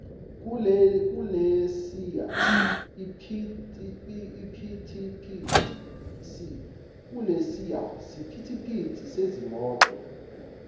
kulesiya siphithiphithi sezimoto